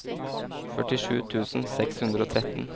førtisju tusen seks hundre og tretten